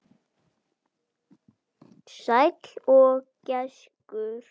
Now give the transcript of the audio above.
Sæll gæskur.